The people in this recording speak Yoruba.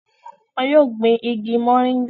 wọn yóò gbin igi mọ̀nríngà